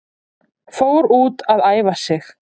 Fór út að æfa sig